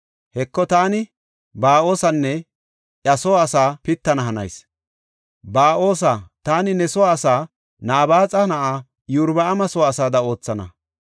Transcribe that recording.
Heko, taani Ba7oosanne iya soo asaa pittana hanayis. Ba7oosa, taani ne soo asaa Nabaaxa na7aa Iyorbaama soo asaada oothana.